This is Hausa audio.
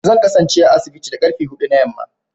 Zan kasance a asibiti da karfe hudu na yamma